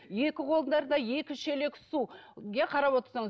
екі қолдарында екі шелек су иә қарап отырсаңыз